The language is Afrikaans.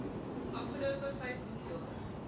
afgelope vyf boekjare